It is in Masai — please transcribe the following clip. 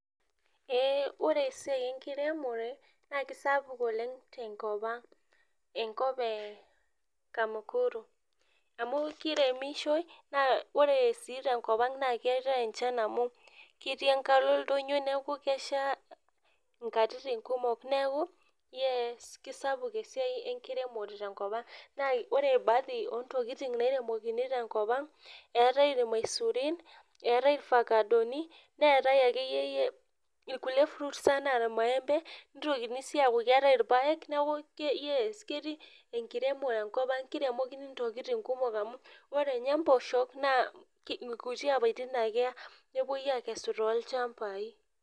Ee ore esiiai enkiremore na kesapuk oleng tenkopang enkop e kamukuru, amu kiremishoi ore si tenkopang keetae enchan amu ketii enkalo oldonyo neaku kesha nkatitin kumok neaku kisapuk esiai enkiremore tenkopang, neaku ore baadhi ontokitin nairemitoi tenkop aang eetae irmaisurin, eetae irfakadoni neetae akeeyie irkulie fruits naa irmaembe nitokini si aaku keetae irpaek neaku keti enkiremore enkop ang kiremokini ntokitin kumok amu ore nye mpoosho na kuti apatin ake eya nepoi akesu tolchambai.